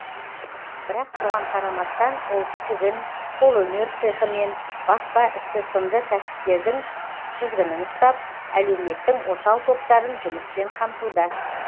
бірақ соған қарамастан ол тігін қолөнер цехі мен баспа ісі сынды кәсіптердің тізгінін ұстап әлеуметтің осал топтарын жұмыспен қамтуда